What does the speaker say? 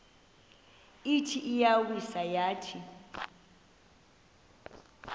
ithi iyawisa yathi